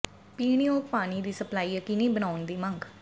ਪੀਣ ਯੋਗ ਪਾਣੀ ਦੀ ਸਪਲਾਈ ਯਕੀਨੀ ਬਣਾਉਣ ਦੀ ਮੰਗ